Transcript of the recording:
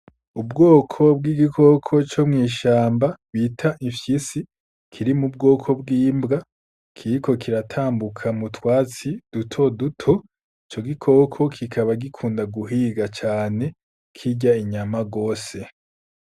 Ubwoko bw'igikoko co mw'ishamba bita ifyisi kiri mu bwoko bwimbwa kiriko kiratambuka mutwatsi duto duto co gikoko kikaba gikunda guhiga cane kirya inyama rwose.